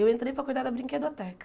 Eu entrei para cuidar da brinquedoteca.